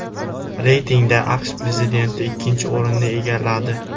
Reytingda AQSh prezidenti ikkinchi o‘rinni egalladi.